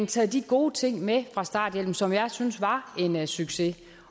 taget de gode ting med fra starthjælpen som jeg synes var en succes